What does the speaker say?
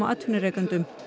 atvinnurekendum